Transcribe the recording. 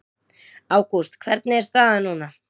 Ágúst hvernig er staðan núna?